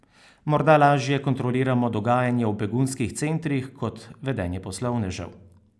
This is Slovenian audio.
Morda lažje kontroliramo dogajanje v begunskih centrih kot vedenje poslovnežev.